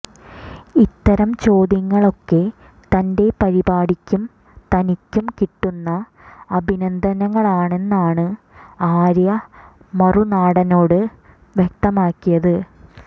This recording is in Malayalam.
ഇത്തരം ചോദ്യങ്ങളൊക്കെ തന്റെ പരിപാടിക്കും തനിക്കും കിട്ടുന്ന അഭിനന്ദനങ്ങളാണെന്നാണ് ആര്യ മറുനാടനോട് വ്യക്തമാക്കിയത്